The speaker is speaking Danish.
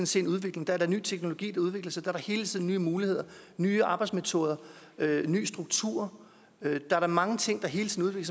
se en udvikling der er da ny teknologi der udvikler sig der hele tiden nye muligheder nye arbejdsmetoder nye strukturer der er da mange ting der hele tiden